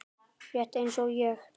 Rétt eins og ég.